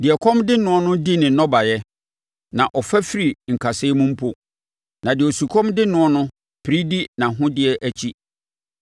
Deɛ ɛkɔm de noɔ no di ne nnɔbaeɛ, na ɔfa firi nkasɛɛ mu mpo, na deɛ osukɔm de noɔ no pere di nʼahodeɛ akyi.